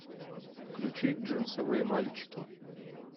включи джинсовые мальчики